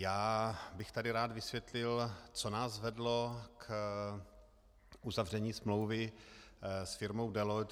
Já bych tady rád vysvětlil, co nás vedlo k uzavření smlouvy s firmou Deloitte.